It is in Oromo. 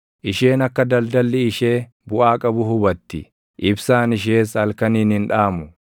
Isheen akka daldalli ishee buʼaa qabu hubatti; ibsaan ishees halkaniin hin dhaamu.